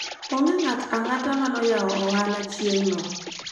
hakuna mtu yeyote aliyefungua biashara siku hiyo